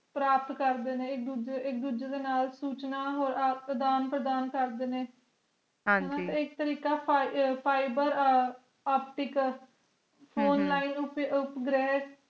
ਪ੍ਰਾਪਤ ਕਰਦੇ ਨੇ ਇਕ ਦੂਜੇ ਇਕ ਦੂਜੇ ਦੇ ਨਾਲ ਸੂਚਨਾ ਹੋਰ ਆਪ ਪ੍ਰਦਾਨ ਕਰਦੇ ਨੇ ਹਾਂ ਜੀ ਇਕ ਤਾਰਿਕ਼ ਫੀਬਾ ਫਾਈਬਰ ਆਪਟੀਕਲ ਨਲਿਨ ਉਪਗ੍ਰੇਡੇ